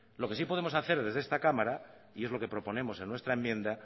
lo que sí podemos hacer desde esta cámara y es lo que proponemos en nuestra enmienda